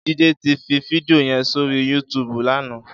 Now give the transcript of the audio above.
Jide ti fi fídìó yèn sóri yútùbú làná